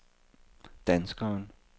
danskeren